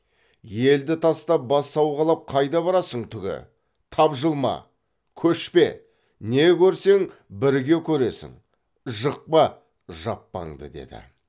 елді тастап бас сауғалап қайда барасың түге тапжылма көшпе не көрсең бірге көресің жықпа жаппаңды деді